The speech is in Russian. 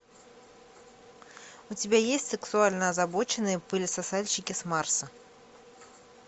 у тебя есть сексуально озабоченные пылесосальщики с марса